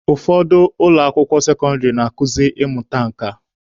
Ụfọdụ ụlọ akwụkwọ sekọndịrị na-akuzi ịmụta nka.